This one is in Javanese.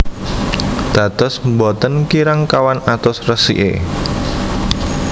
Dados boten kirang kawan atus resiké